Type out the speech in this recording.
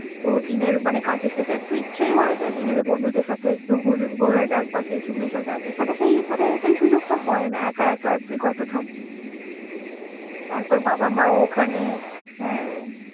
তো দিনের মানে কাজের সসে একটু ইচ্ছেই হয়ে যে নিজেদের বন্ধুদের সাথে একটু ঘুরু ঘরা যাক বা কিছু মেশা যাক, এখানে সেই মানে সেই সুযোগ টা হয়ে না, একা একা তুই কত থাকবি তারপর বাবা মা ও ওখানে।